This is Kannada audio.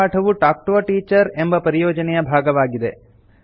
ಈ ಪಾಠವು ಟಾಲ್ಕ್ ಟಿಒ a ಟೀಚರ್ ಎಂಬ ಪರಿಯೋಜನೆಯ ಭಾಗವಾಗಿದೆ